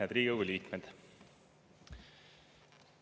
Head Riigikogu liikmed!